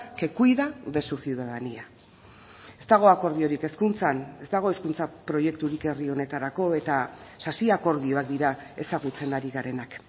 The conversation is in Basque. que cuida de su ciudadanía ez dago akordiorik hezkuntzan ez dago hezkuntza proiekturik herri honetarako eta sasi akordioak dira ezagutzen ari garenak